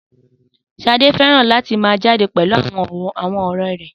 Sade fẹ́ràn láti máa jáde pẹ̀lú àwọn ọ̀rẹ́ rẹ̀